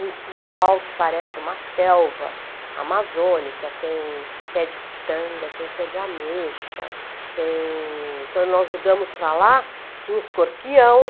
um quintal que parece uma selva amazônica, tem pé de pitanga, tem pé de ameixa, tem quando nós mudamos para lá tinha escorpião.